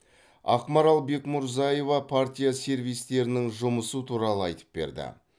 ақмарал бекмурзаева партия сервистерінің жұмысы туралы айтып берді